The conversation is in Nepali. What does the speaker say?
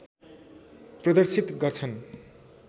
प्रदर्शित गर्छन।